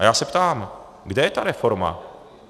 A já se ptám: Kde je ta reforma?